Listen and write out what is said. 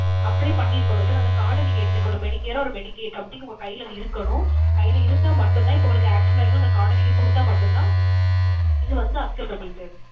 apply பண்ணி இருக்கணும் sir. அந்த card அ நீங்க எடுத்திருக்கணும். medicare or medicaid something உங்க கைல அது இருக்கணும். கைல இருந்தா மட்டும்தான் இப்ப உங்களுக்கு accident அயிட்டுனா அந்த card அ நீங்க குடுத்தா மட்டும்தான், இது வந்து acceptable sir.